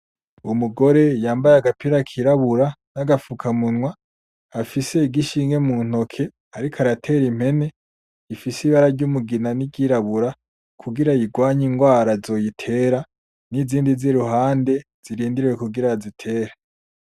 Umugore yambaye agapira kirabura n'agafukamunwa afise igishinge mu ntoke ariko aratera impene ifise ibara ry'umugina n'iryirabura kugira ayigwanye ingwara zoyitera nizindi ziruhande zirindiriye kugira bazitere.